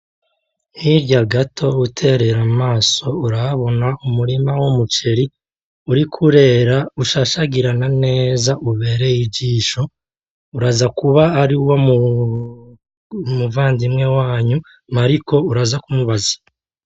Hirya gato utereye amaso urahabona umurima w'umuceri uriko urera ushashagirana neza ubereye ijisho .Urazakuba aruw' umuvandimwe wanyu Mariko uraza kumubaza .